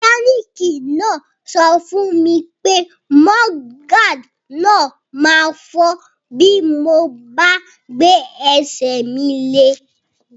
Mẹkánìkì náà sọ fún mi pé mudguard náà ma fọ́ bí mo bá gbé ẹsẹ̀ mi lé